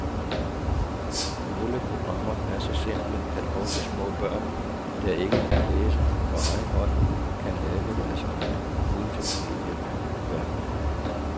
Nogle programmer er så simple, at også små børn, der ikke kan læse, på egen hånd kan lave deres egne multimedieværker.